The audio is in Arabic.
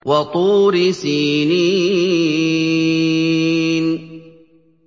وَطُورِ سِينِينَ